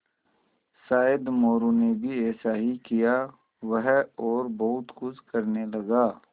शायद मोरू ने भी ऐसा ही किया वह और बहुत कुछ करने लगा